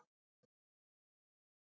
Ég ætla að kíkja upp